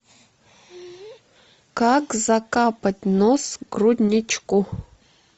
как закапать нос грудничку